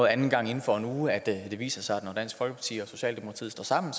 anden gang inden for en uge at det viser sig at når dansk folkeparti og socialdemokratiet står sammen